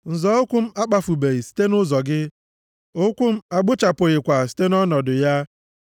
Nzọ ụkwụ m akpafubeghị site nʼụzọ gị, ụkwụ m agbụchapụghịkwa site nʼọnọdụ ya.